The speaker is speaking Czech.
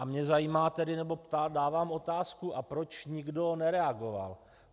A mě zajímá tedy nebo dávám otázku - a proč nikdo nereagoval?